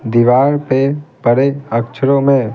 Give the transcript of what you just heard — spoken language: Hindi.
दीवार पेपड़े अक्षरों में--